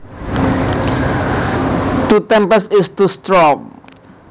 To tempest is to storm